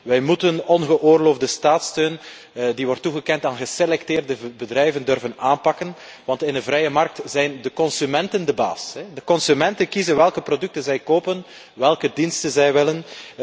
Wij moeten ongeoorloofde staatssteun die wordt toegekend aan geselecteerde bedrijven durven aanpakken want in een vrije markt zijn de consumenten de baas. De consumenten kiezen welke producten zij kopen, welke diensten zij willen.